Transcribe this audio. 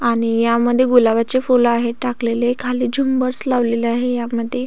आणि या मध्ये गुलाबाचे फुल आहे टाकलेले खाली झुम्बर्स लावलेले आहे यामध्ये.